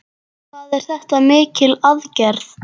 Hvað er þetta mikil aðgerð?